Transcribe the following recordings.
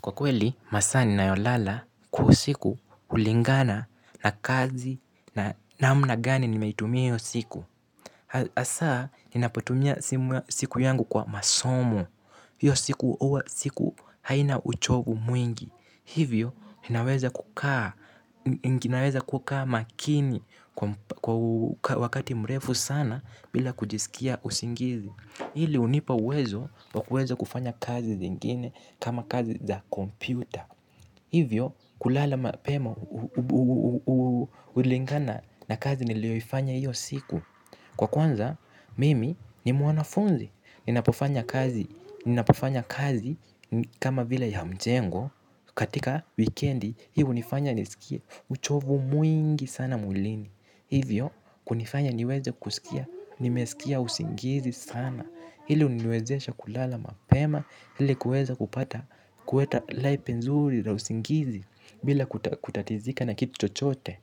Kwa kweli, masaa ninayolala kwa usiku hulingana na kazi na namna gani nimeitumia hio siku hAsa, ninapotumia siku yangu kwa masomo. Hiyo siku haina uchovu mwingi. Hivyo, ninaweza kukaa makini wakati mrefu sana bila kujisikia usingizi. Hili unipa uwezo wakuweza kufanya kazi zingine kama kazi za kompyuta. Hivyo kulala pema hulingana na kazi nilioifanya hiyo siku. Kwa kwanza mimi ni mwanafunzi. Ninapofanya kazi kama vile ya mjengo. Katika wikendi hii hunifanya nisikie uchovu mwingi sana mwilini. Hivyo kunifanya niweze kusikia nimesikia usingizi sana. Hili huniwezesha kulala mapema hili kuweza kupata kuweta lepe nzuri la usingizi bila kutatizika na kitu chochote.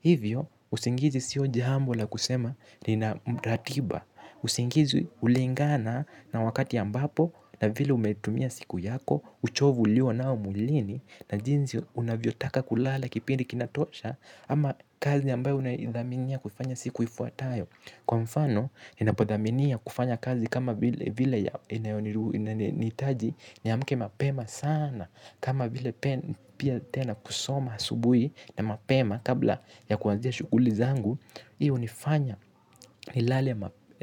Hivyo, usingizi sio jambo la kusema nina mratiba. Usingizi hulingana na wakati ambapo na vile umetumia siku yako. Uchovu ulio nao mwilini na jinzi unavyotaka kulala kipindi kinatosha. Ama kazi ambayo unaidhaminia kufanya siku ifuatayo. Kwa mfano, ninapodhaminia kufanya kazi kama vile vile ya nitaji. Niamke mapema sana. Kama vile pia tena kusoma asubuhi na mapema. Kabla ya kuanzia shukuli zangu hio hunifanya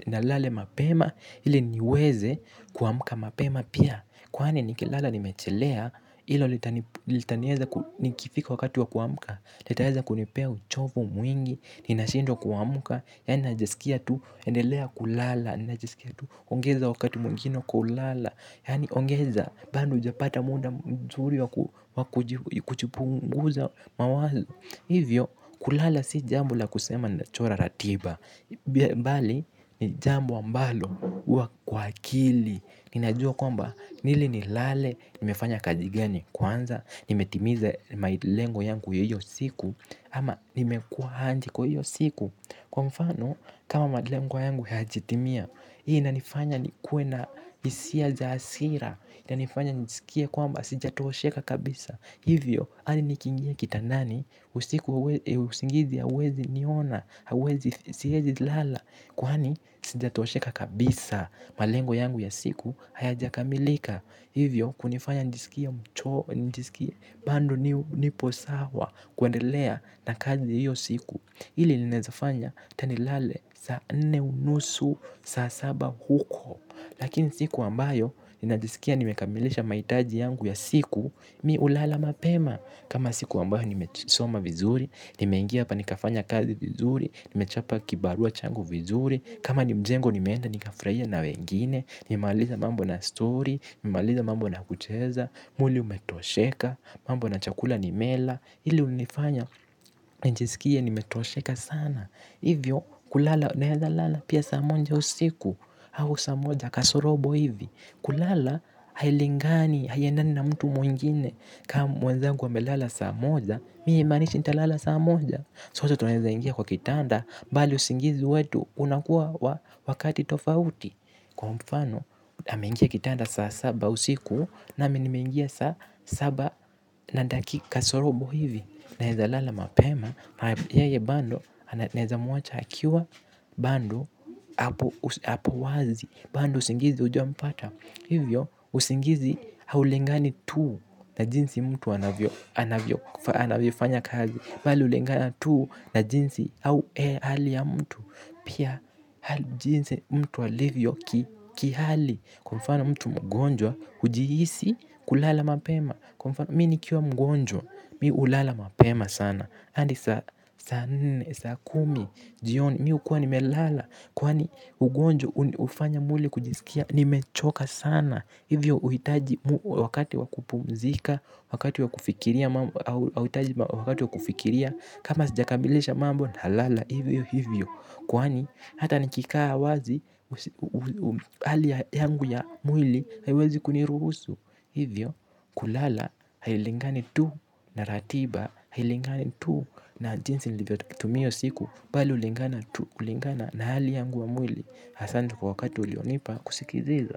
nilale mapema. Ili niweze kuamka mapema pia. Kwani nikilala nimechelea hilo litani litanieza nikifika wakati wa kuamka. Litaeza kunipea uchovu mwingi. Ninashindwa kuamka. Yaani najisikia tu, endelea kulala ninajisikia tu, ongeza wakati mwingine wa kulala. Yaani ongeza, bado ujapata muda mzuri wa kujipunguza mawazo. Hivyo, kulala si jambo la kusema ni nachora ratiba. Mbali, ni jambo ambalo, huwa kwa akili. Ninajua kwamba, ili ni lale, nimefanya kaza gani kwanza. Nimetimiza malengo yangu ya hiyo siku. Ama, nimekua aje kwa hiyo siku. Kwa mfano, kama malengo yangu hajatimia, hii inanifanya nikue na hisia za hasira, inanifanya nijisikie kwamba sijatosheka kabisa. Hivyo, hadi nikiingia kitandani, usiku usingizi hauwezi niona, hauwezi siwezi lala, kwani sijatosheka kabisa. Malengo yangu ya siku, hayaja kamilika. Hivyo hunifanya nijiskie mchovu bado nipo sawa kuendelea na kazi ya hio siku hili linaezafanya ata nilale ata saa nne unusu saa saba huko lakini siku ambayo ninajiskia kwamba nimekamilisha malengo yangu ya siku mi hulala mapema. Kama siku ambayo nimesoma vizuri, nimeingia hapa nikafanya kazi vizuri, nimechapa kibarua changu vizuri. Kama ni mjengo nimeenda nikafurahia na wengine, nimalize mambo na story, nimalize mambo na kucheza, mwili umetosheka, mambo na chakula nime kula. Hili hunifanya nijisikie nimetosheka sana. Hivyo kulala naeza lala pia saa moja usiku au saa moja kasorobo hivi. Kulala hailingani haiendani na mtu mwingine. Kama mwenzagu amelala saa moja. Mi haimanishi nitalala saa moja. Sote tunaeza ingia kwa kitanda. Bali usingizi wetu unakuwa wakati tofauti. Kwa mfano ameingia kitanda saa saba usiku. Nami nimeingia saa saba na dakika kasorobo hivi. Naeza lala mapema. Yeye bado naeza muacha akiwa bado hApo wazi. Bando usingizi hauja mpata. Hivyo usingizi haulingani tuu. Na jinsi mtu anavyo anavyofanya kazi bali hulingani tuu. Na jinsi au ile hali ya mtu pia jinsi mtu alivyo ki hali kwa mfana mtu mgonjwa hujihisi kulala mapema. Kwa mfano mi nikiwa mgonjwa. Mi hulala mapema sana hadi saa nne saa kumi jioni. Mi hukuwa nimelala. Kwani ugonjwa hufanya mwili kujisikia nimechoka sana. Hivyo huhitaji wakati wakupumzika. Wakati wakufikiria kama sijakamilisha mambo nalala hivyo hivyo. Kwani hata nikikaa wazi hali yangu ya mwili haiwezi kuniruhusu. Hivyo kulala hailingani tu na ratiba hailingani tu na jinsi nilivyo tumia siku. Bali hulingana tu hulingana na hali yangu wa mwili asante kwa wakati ulionipa kusikiliza.